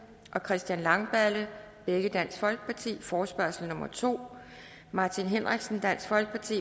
og christian langballe forespørgsel nummer f to martin henriksen